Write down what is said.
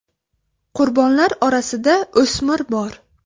Qurbonlar orasida o‘smir bor.